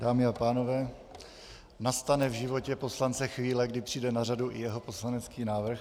Dámy a pánové, nastane v životě poslance chvíle, kdy přijde na řadu i jeho poslanecký návrh.